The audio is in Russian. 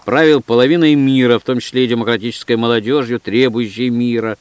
правил половиной мира в том числе и демократической молодёжью требующей мира